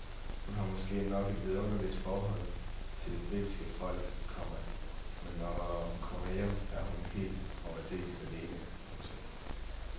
Hun har måske nok et vidunderligt forhold til det britiske folk, komma men når hun kommer hjem er hun helt og aldeles alene. punktum